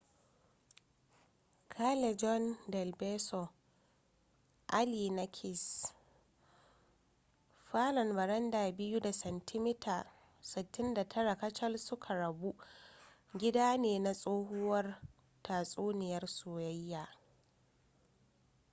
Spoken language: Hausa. callejon del beso alley na kiss. falon baranda biyu da santimita 69 kacal suka rabu gida ne na tsohuwar tatsuniyar soyayya